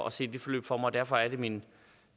at se det forløb for mig og derfor er det min